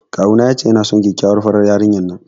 Kawuna ya ce yana son kyakkyawar farar yarinyar nan.